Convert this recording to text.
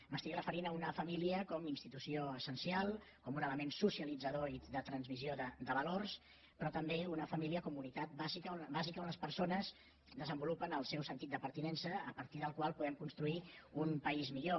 m’estic referint a una família com a institució essencial com un element socialitzador i de transmissió de valors però també una família com a unitat bàsica on les persones desenvolupen el seu sentit de pertinença a partir del qual podem construir un país millor